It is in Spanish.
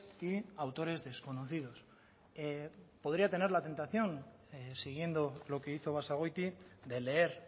y autores desconocidos podría tener la tentación siguiendo lo que hizo basagoiti de leer